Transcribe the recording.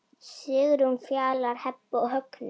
Sigrún, Fjalar, Heba og Högni.